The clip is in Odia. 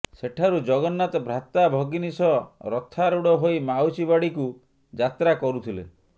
ସେଠାରୁ ଜଗନ୍ନାଥ ଭ୍ରାତା ଭଗିନୀ ସହ ରଥାରୂଢ ହୋଇ ମାଉସି ବାଡିକୁ ଯାତ୍ରା କରୁଥିଲେ